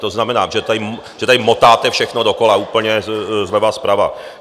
To znamená, že tady motáte všechno dokola úplně zleva, zprava.